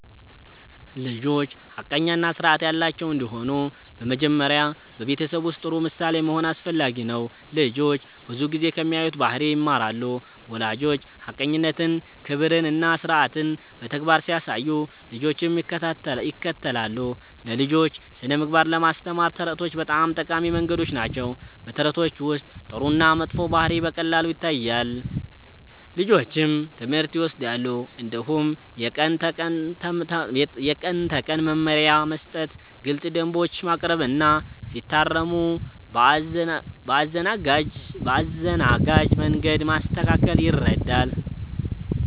ልጆች ሐቀኛ እና ስርዓት ያላቸው እንዲሆኑ በመጀመሪያ በቤተሰብ ውስጥ ጥሩ ምሳሌ መሆን አስፈላጊ ነው። ልጆች ብዙ ጊዜ ከሚያዩት ባህሪ ይማራሉ። ወላጆች ሐቀኝነትን፣ ክብርን እና ስርዓትን በተግባር ሲያሳዩ ልጆችም ይከተላሉ። ለልጆች ስነ-ምግባር ለማስተማር ተረቶች በጣም ጠቃሚ መንገድ ናቸው። በተረቶች ውስጥ ጥሩ እና መጥፎ ባህሪ በቀላሉ ይታያል፣ ልጆችም ትምህርት ይወስዳሉ። እንዲሁም የቀን ተቀን መመሪያ መስጠት፣ ግልፅ ደንቦች ማቅረብ እና ሲታረሙ በአዘናጋጅ መንገድ ማስተካከል ይረዳል።